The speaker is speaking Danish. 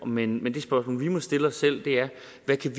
men men det spørgsmål vi må stille os selv